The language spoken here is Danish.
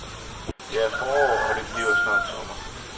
Det er forår, og det bliver snart sommer.